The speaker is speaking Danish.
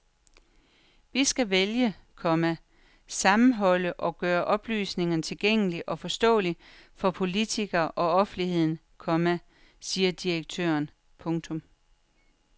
Vi skal vælge, komma sammenholde og gøre oplysningerne tilgængelige og forståelige for politikere og offentligheden, komma siger direktøren. punktum